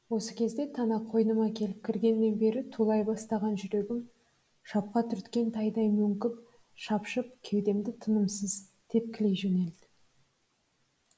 осы кезде тана қойныма келіп кіргеннен бері тулай бастаған жүрегім шапқа түрткен тайдай мөңкіп шапшып кеудемді тынымсыз тепкілей жөнелді